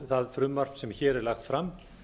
það frumvarp sem hér er lagt fram